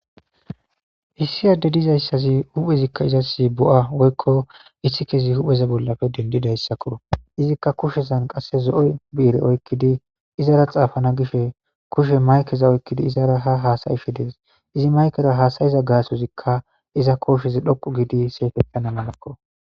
issi addey dizayssazi huphezikka izas bo'a woykko issikezi hupheza bollappe dendidayssakko, izikka kushezan qasse zo'o bi'ire oykkidi izara xaafana gishe kushe maykeza oykkidi izara ha haasa'isishe dees, izi maykera haasayiza gaasozikka iza kooshezi dhoqu giidi siyetans malakko.